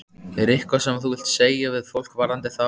Er eitthvað sem þú vilt segja við fólk varðandi þá?